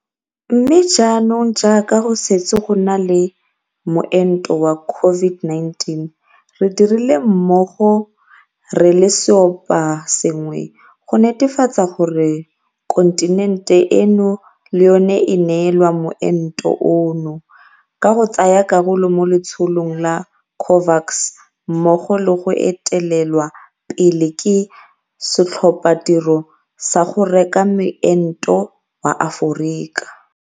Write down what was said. Mme jaanong jaaka go setse go na le moento wa CO-VID-19, re dirile mmogo re le seoposengwe go netefatsa gore kontinente eno le yona e neelwa moento ono, ka go tsaya karolo mo Letsholong la COVAX mmogo le go etelelwa pele ke Setlhophatiro sa go Reka Moento wa Aforika.